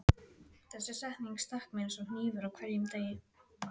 Þessi setning stakk mig eins og hnífur á hverjum degi.